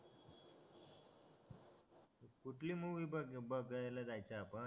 कुठली मूवी बघ बघायला जायचा आपण